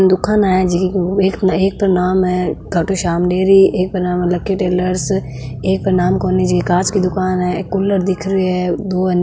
दुकाना है जी एक तो नाम है खाटूश्याम डेरी एक को नाम है लकी टेलर्स एक को नाम कोनी जी कांच का दुकान है एक कूलर दिख रहियो है एक है नि --